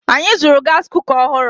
Anyị zụrụ gaasi kuka ọhụrụ.